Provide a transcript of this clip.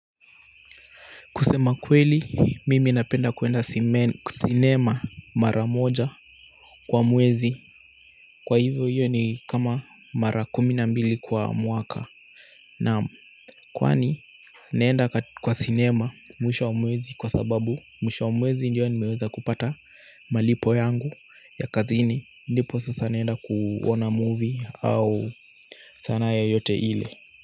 Kusema kweli, mimi napenda kuenda cinema mara moja kwa mwezi kwa hivyo hiyo ni kama mara kumi na mbili kwa mwaka kwani, naenda kwa cinema mwisho wa mwezi kwa sababu mwisho wa mwezi ndiyo nimeweza kupata malipo yangu ya kazini ndipo sasa naenda kuona movie au sanaa yoyote ile.